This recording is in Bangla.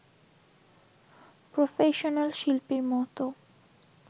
প্রফেশনাল শিল্পীর মতো